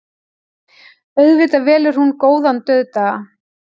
Auðvitað velur hún góðan dauðdaga.